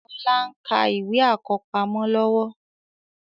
Ọlá ń ka ìwé àkọ́pamọ́ lọ́wọ́